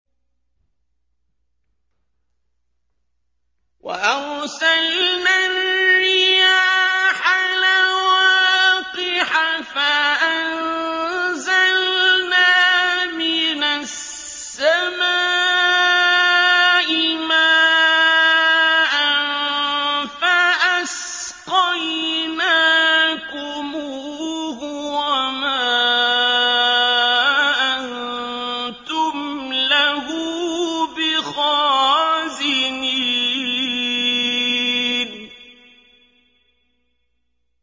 وَأَرْسَلْنَا الرِّيَاحَ لَوَاقِحَ فَأَنزَلْنَا مِنَ السَّمَاءِ مَاءً فَأَسْقَيْنَاكُمُوهُ وَمَا أَنتُمْ لَهُ بِخَازِنِينَ